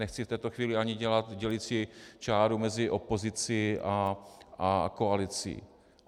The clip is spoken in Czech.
Nechci v této chvíli ani dělat dělicí čáru mezi opozicí a koalicí.